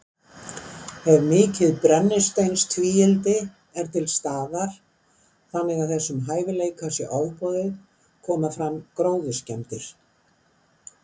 Ef mikið brennisteinstvíildi er til staðar, þannig að þessum hæfileika sé ofboðið, koma fram gróðurskemmdir.